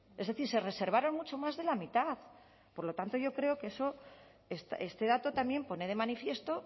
es decir se reservaron mucho más de la mitad por lo tanto yo creo que este dato también pone de manifiesto